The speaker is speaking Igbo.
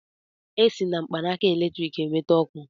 E si na mkpanaka eletriki e nweta ọkụ.